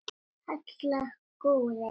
Halla, Harpa og Skúli.